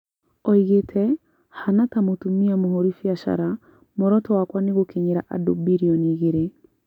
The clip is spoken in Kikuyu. Oigĩte "Hana ta mũtumia mũhũri biacara, mworoto wakwa nĩ gũkinyĩria andũ birioni igĩrĩ